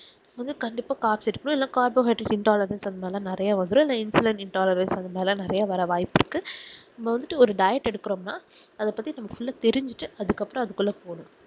மொத கண்டிப்பா carbs இருக்கணும் carbohydrates intolerant அதுமாதிரி நெறைய வந்துரும் infolnet intolerant அது மாதிரி நெறைய வர வாய்ப்பு இருக்கு நம்ம வந்து ஒரு diet எடுக்குறோம் நாஅத பத்திநம்ம full ஆஹ் தெரிஞ்சிட்டு அதுக்கு அப்புறம் அதுக்குள்ள போகணும்